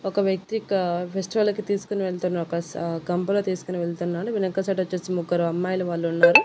ఒక వ్యక్తి క ఫెస్టివల్ కి తీసుకొని వెళ్తున్న ఒక గంపలో తీసుకొని వెళ్తున్నాడు వెనక సైడ్ వచ్చేసి ముగ్గురు అమ్మాయిలు వాళ్ళు ఉన్నారు.